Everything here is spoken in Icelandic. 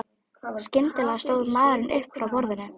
Skyndilega stóð maðurinn upp frá borðum.